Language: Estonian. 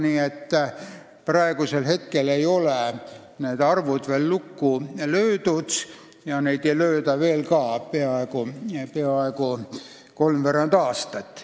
Nii et praegu ei ole need arvud veel lukku löödud ja neid ei lööda lukku veel peaaegu kolmveerand aastat.